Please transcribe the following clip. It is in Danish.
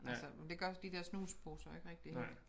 Altså men de gør de der snusposer ikke rigtig vel